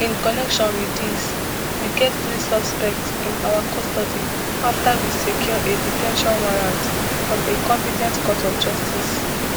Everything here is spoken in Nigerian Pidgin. in connection with dis we get three suspects im our custody after we secure a de ten tion warrant from a compe ten t court of justice